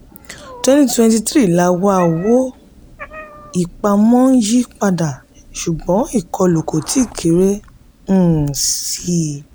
twenty twenty three la wà owó-ìpamọ́ ń yí padà ṣùgbọ́n ìkọlù kò tíì kéré um síi.